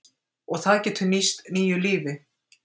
Og það getur nýst nýju lífi.